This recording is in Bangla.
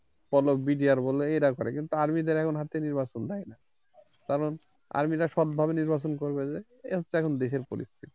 বলো brigadier বলো এরা করে কিন্তু army দের হাতে এখন নির্বাচন দেয় না কারণ army রা সৎ ভাবে নির্বাচন করবে যে, এ হচ্ছে এখন দেশের পরিস্থিতি